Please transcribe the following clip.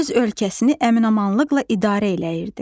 O öz ölkəsini əmin-amanlıqla idarə eləyirdi.